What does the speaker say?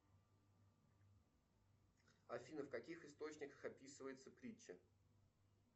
афина в каких источниках описывается притча